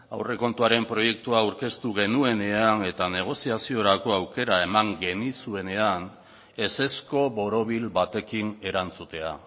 aurrekontuaren proiektua aurkeztu genuenean eta negoziaziorako aukera eman genizuenean ezezko borobil batekin erantzutea